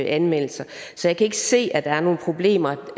anmeldelser så jeg kan ikke se at der er nogen problemer